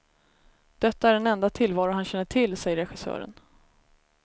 Detta är den enda tillvaro han känner till, säger regissören.